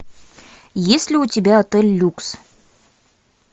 есть ли у тебя отель люкс